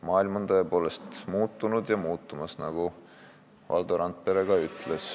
Maailm on tõepoolest muutunud ja muutumas, nagu Valdo Randperegi ütles.